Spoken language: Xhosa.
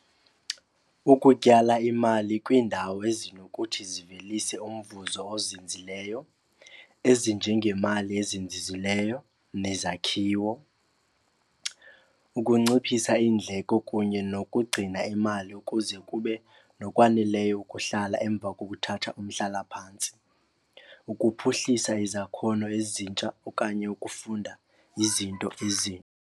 Ukutyala imali kwiindawo ezinokuthi zivelise umvuzo ozinzileyo ezinjengemali ezizinzile nezakhiwo. Ukunciphisa indleko kunye nokugcina imali kuze kube nokwaneleyo ukuhlala emva kokuthatha umhlalaphantsi. Ukuphuhlisa izakhono ezintsha okanye ukufunda izinto ezi.